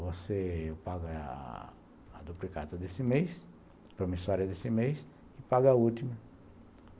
você paga a duplicata desse mês, a promissória desse mês, e pago a última.